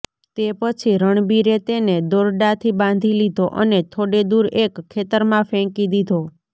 તે પછી રણબીરે તેને દોરડાથી બાંધી લીધો અને થોડે દૂર એક ખેતરમાં ફેંકી દીધો